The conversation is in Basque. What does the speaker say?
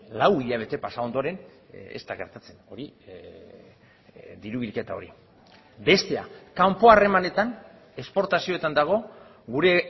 lau hilabete pasa ondoren ez da gertatzen hori diru bilketa hori bestea kanpo harremanetan esportazioetan dago gure